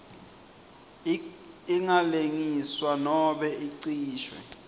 ingalengiswa nobe incishiswe